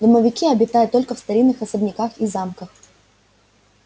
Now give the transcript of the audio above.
домовики обитают только в старинных особняках и замках